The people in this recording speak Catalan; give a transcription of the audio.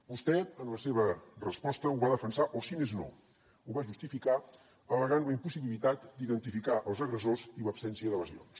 vostè en la seva resposta ho va defensar o si més no ho va justificar al·legant la impossibilitat d’identificar els agressors i l’absència de lesions